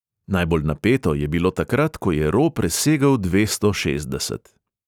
Najbolj napeto je bilo takrat, ko je ro presegel dvesto šestdeset.